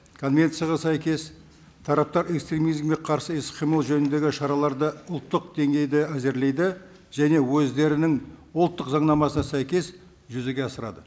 конвенцияға сәйкес тараптар экстремизмге қарсы іс қимыл жөніндегі шараларды ұлттық деңгейде әзірлейді және өздерінің ұлттық заңнамасына сәйкес жүзеге асырады